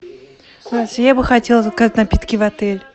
я бы хотела заказать напитки в отель